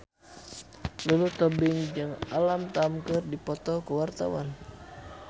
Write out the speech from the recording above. Lulu Tobing jeung Alam Tam keur dipoto ku wartawan